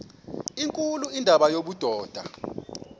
nkulu indima yobudoda